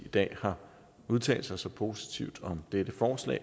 i dag har udtalt sig så positivt om dette forslag